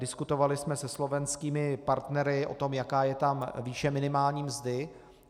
Diskutovali jsme se slovenskými partnery o tom, jaká je tam výše minimální mzdy.